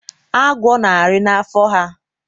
Agwo na-arị na n'afọ ha.